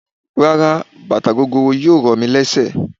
Rárá bàtà gogoro yìí ò ro mí lésè.